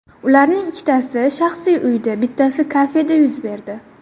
Ularning ikkitasi shaxsiy uyda, bittasi kafeda yuz berdi.